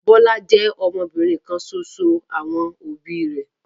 Bọ́lá jẹ́ ọmọbìnrin kan ṣoṣo àwọn òbí rẹ̀.